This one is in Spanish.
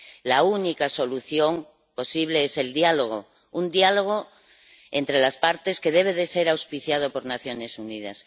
La única solución posible es el diálogo, un diálogo entre las partes que debe ser auspiciado por las Naciones Unidas.